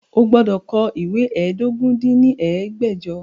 O gbọ́dọ̀ kọ ìwé ẹ́ẹdógún dín ní ẹgbẹ́jọ!